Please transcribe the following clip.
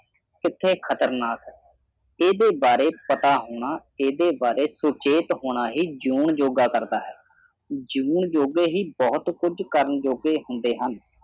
ਕਿੱਥੇ ਖਤਰਨਾਕ ਹੈ ਇਹਦੇ ਬਾਰੇ ਪਤਾ ਹੋਣਾ ਇਹਦੇ ਬਾਰੇ ਸੁਚੇਤ ਹੋਣਾ ਹੀ ਜਿਉਣ ਯੋਗਾ ਕਰਦਾ ਹੈ ਜਿਊਣ ਜੋਗੇ ਹੀ ਬਹੁਤ ਕੁਝ ਕਰਨ ਜੋਗੇ ਹੁੰਦੇ ਹਨ